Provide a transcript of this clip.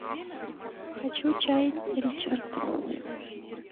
хочу чай ричард